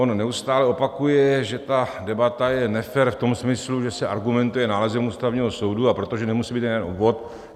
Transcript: On neustále opakuje, že ta debata je nefér v tom smyslu, že se argumentuje nálezem Ústavního soudu, a protože nemusí být jeden obvod.